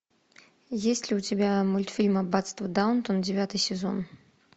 есть ли у тебя мультфильм аббатство даунтон девятый сезон